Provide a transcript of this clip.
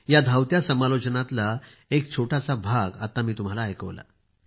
त्या धावत्या सामालोचनातील एक छोटासा भाग आता मी तुम्हाला ऐकवला